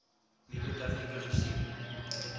nuwe tegnieke gesien